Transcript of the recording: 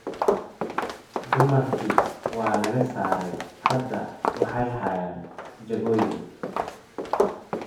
Dumarkii waa laga saaray. Hadda waxay hayaan jagooyin.